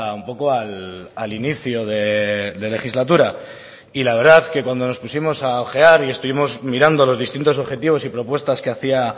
un poco al inicio de legislatura y la verdad que cuando nos pusimos a ojear y estuvimos mirando los distintos objetivos y propuestas que hacia